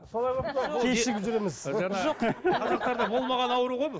кешігіп жүреміз болмаған ауру ғой бұл